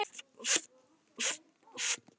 Helsárt fyrir okkur öll.